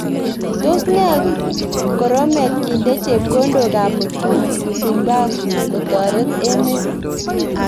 Tos ne koromet kinde chepkondok ab mutumba kotoret emet.